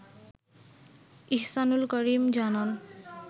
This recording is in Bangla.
ইহসানুল করিম জানান